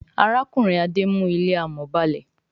Arákùnrin Ade mú ilé amò ba'le.